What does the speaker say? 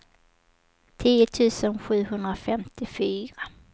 tio tusen sjuhundrafemtiofyra